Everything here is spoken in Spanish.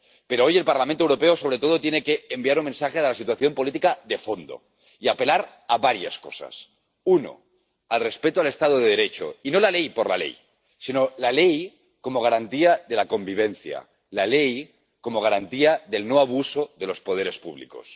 Pero hoy el Parlamento Europeo sobre todo tiene que enviar un mensaje sobre la situación política de fondo y apelar a varias cosas 1 al respeto del Estado de Derecho y no a la ley por la ley, sino a la ley como garantía de la convivencia, la ley como garantía de que no se cometan abusos por parte de los poderes públicos